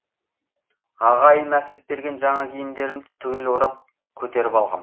ағайым әкеп берген жаңа киімдерімді түгел орап көтеріп алғам